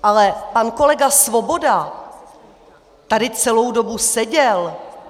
Ale pan kolega Svoboda tady celou dobu seděl.